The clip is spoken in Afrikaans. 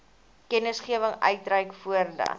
kennisgewing uitreik voordat